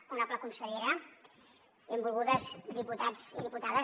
honorable consellera benvolguts diputats i diputades